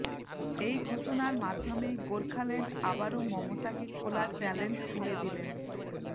এই ঘোষণার মাধ্যমে গোর্খাল্যান্ড আবারও মমতাকে খোলা চ্যালেঞ্জ ছুড়ে দিলেন